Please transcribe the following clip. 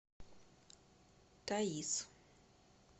таиз